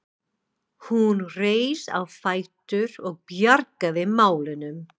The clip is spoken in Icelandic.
Hún reis á fætur og bjargaði málunum.